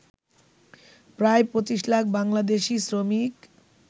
প্রায় ২৫ লাখ বাংলাদেশী শ্রমিক